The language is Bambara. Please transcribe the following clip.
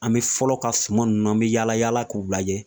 An bɛ fɔlɔ ka suman ninnu an bɛ yaala yaala k'u lajɛ